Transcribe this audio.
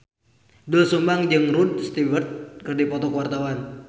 Doel Sumbang jeung Rod Stewart keur dipoto ku wartawan